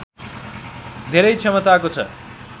धेरै क्षमताको छ